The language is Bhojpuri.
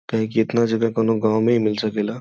कहे कि इतना जगह कोनो गाँव में ही मिल सकेला।